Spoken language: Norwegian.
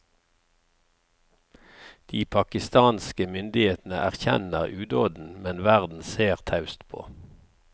De pakistanske myndighetene erkjenner udåden, men verden ser taust på.